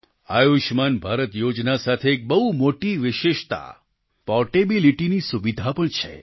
આયુષ્યમાન ભારત યોજના સાથે એક બહુ મોટી વિશેષતા પોર્ટેબિલીટીની સુવિધા પણ છે